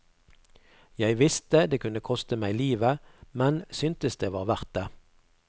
Jeg visste det kunne koste meg livet, men syntes det var verdt det.